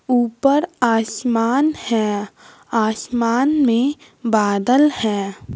ऊपर आसमान है आसमान में बादल हैं।